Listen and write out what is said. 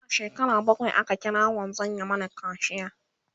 Ina shekara bakwai aka kira wanzan ya Mani kaciya